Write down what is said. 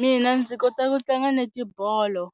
Mina ndzi kota ku tlanga netibolo